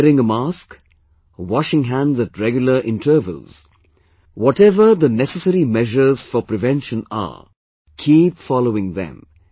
Wearing a mask, washing hands at regular intervals, whatever are the necessary measures for prevention, keep following them